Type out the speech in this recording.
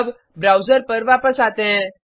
अब ब्राउज़र पर वापस आते हैं